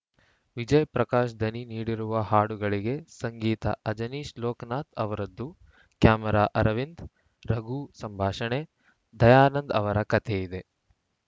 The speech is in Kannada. ವಿಜಯ್‌ ಪ್ರಕಾಶ್‌ ದನಿ ನೀಡಿರುವ ಹಾಡುಗಳಿಗೆ ಸಂಗೀತ ಅಜನೀಶ್‌ ಲೋಕ್‌ನಾಥ್‌ ಅವರದ್ದು ಕ್ಯಾಮರಾ ಅರವಿಂದ್‌ ರಘು ಸಂಭಾಷಣೆ ದಯಾನಂದ ಅವರ ಕತೆ ಇದೆ